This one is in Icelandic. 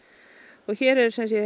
og hér er sem sé